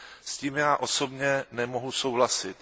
S tím já osobně nemohu souhlasit.